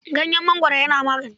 Ganyen mangoro yana magani.